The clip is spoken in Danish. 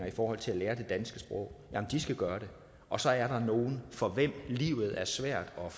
i forhold til at lære det danske sprog skal gøre det og så er der nogle for hvem livet er svært og